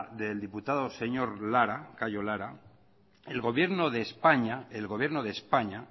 del diputado señor lara cayo lara el gobierno de españa